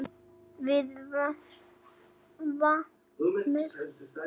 Við vatnið.